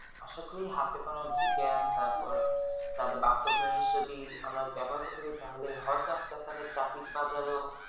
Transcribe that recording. আসা করি হাতে কলমে জ্ঞান তারপর তাদের বাস্তব আমরা ব্যবহার করতে পারি তাহলে হয়তো আস্তে আস্তে আমরা চাকরির বাজারেও